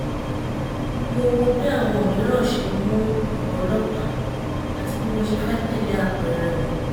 mo wo bí àwọn mìíràn ṣe mu ọ̀rọ̀ ọlọ́pàá àti bí mo ṣe fẹ́ tẹ̀lé ápẹẹrẹ wọn